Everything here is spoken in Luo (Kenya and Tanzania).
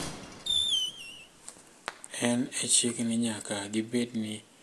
En e chik ni nyaka gibed ni girwako lawno mopuodhi ne odiechieng`no.